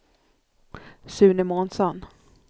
Sune Månsson